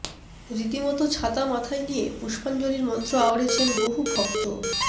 রীতিমতো ছাতা মাথায নিযে পুস্পাঞ্জলির মন্ত্র আওড়েছেন বহু ভক্ত